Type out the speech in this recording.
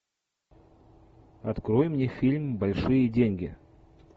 открой мне фильм большие деньги